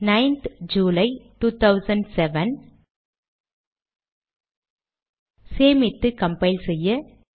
ninth July 2007 சேமித்து compile செய்ய